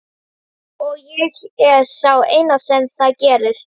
Og ég er sá eini sem það gerir.